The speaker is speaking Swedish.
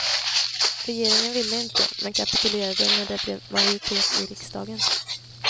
Regeringen ville inte, men kapitulerade när det blev majoritet i riksdagen.